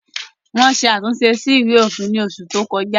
Wọ́n ṣe àtúnṣe sí Ìwé òfin ní oṣù tí o kọjá